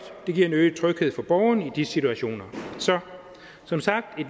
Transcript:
det giver en øget tryghed for borgeren i de situationer så som sagt er